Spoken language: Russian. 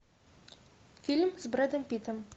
фильм с брэдом питтом